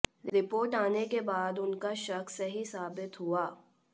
report आने के बाद उनका शक सही साबित हुआ